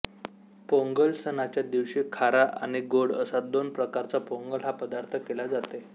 पोंगल सणाच्या दिवशी खारा आणि गोड असा दोन प्रकारचा पोंगल हा पदार्थ केला जाते